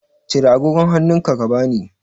Cire agogon hannunka ka bani.